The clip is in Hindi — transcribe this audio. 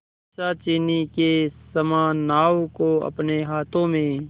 पिशाचिनी के समान नाव को अपने हाथों में